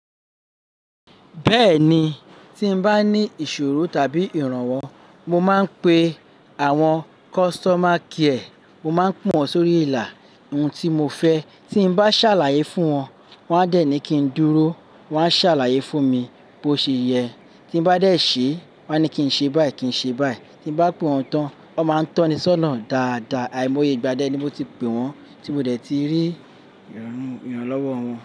Bẹ́ẹ̀ni, tí n bá ní ìṣòro tàbí ìrànwọ́, mo máa ń pe àwọn customer care. Mo máa ń pọn wọ́n sórí ìlà, ohun tí mo fẹ́. Tí n bá ṣàlàyé fún wọn, wọ́n á dẹ̀ ni kí n dúró, wọ́n á ṣàlàyé fún mi bó ṣe yẹ. Tí n bá dẹ̀ ṣe, wọ́n á ní kí n ṣe báyìí, kí n ṣe báyìí. Tí n bá pe wọn tán, wọ́n máa ń tọ́ni sónà dáadáa. Àìmọye igba dé ni mo ti pè wọ́n tí mo dẹ̀ tí rí ìránú ìrànlọ́wọ́ wọn.